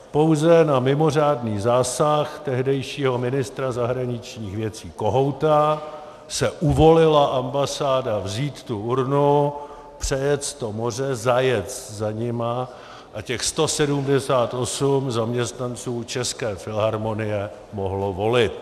Pouze na mimořádný zásah tehdejšího ministra zahraničních věcí Kohouta se uvolila ambasáda vzít tu urnu, přejet to moře, zajet za nimi a těch 178 zaměstnanců České filharmonie mohlo volit.